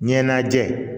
Ɲɛnajɛ